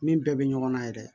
Min bɛɛ bɛ ɲɔgɔn na yɛrɛ